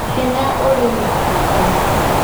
Hinya ũrĩ na andũ